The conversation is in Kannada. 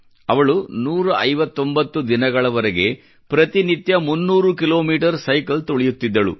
ಅವಳು 159 ದಿನಗಳವರೆಗೆ ಪ್ರತಿನಿತ್ಯ 300 ಕಿಲೋಮೀಟರ್ ಸೈಕಲ್ ತುಳಿಯುತ್ತಿದ್ದಳು